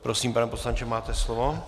Prosím, pane poslanče, máte slovo.